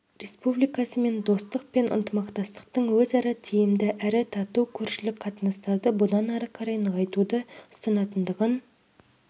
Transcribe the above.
республикасымен достық пен ынтымақтастықтың өзара тиімді әрі тату көршілік қатынастарды бұдан ары қарай нығайтуды ұстанатындығын